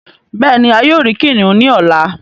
Béèni a yóò ríi kìnìún ní ọlá.